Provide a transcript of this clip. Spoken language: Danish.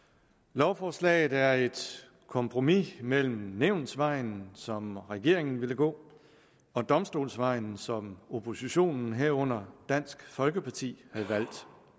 lovforslaget er et kompromis mellem nævnsvejen som regeringen vil gå og domstolsvejen som oppositionen herunder dansk folkeparti har valgt